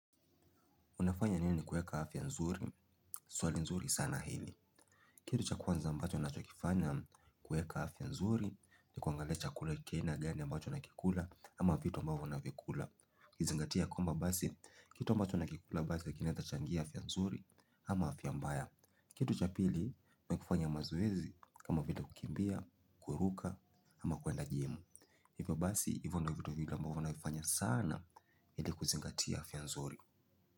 Unafanya nini kuweka afya nzuri swali nzuri sana hili. Kitu cha kwanza ambacho ninacho kuweka afya nzuri, ni kuangali chakula cha aina gani mbacho nakikula ama vitu mbavyo na vikula. Ukizingatia kwamba basi, kitu mbacho na kikula basi kinaweza changia afya nzuri ama afya mbaya. Kitu cha pili, mi kufanya mazoezi kama vile kukimbia, kuruka ama kwenda jimu. Hivyo basi, hivyo ndio vitu vingi mbavyo navifanya sana, ili kuzingatia afya nzuri.